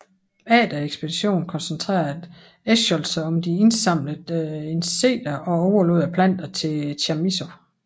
Efter ekspeditionen koncentrerede Eschscholtz sig om de indsamlede insekter og overlod planterne til Chamisso